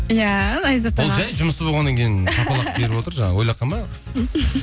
иә айзат аға ол жай жұмысы болғаннан кейін жаңағы ойлап қалма